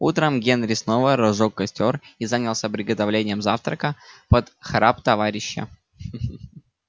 утром генри снова разжёг костёр и занялся приготовлением завтрака под храп товарища ха ха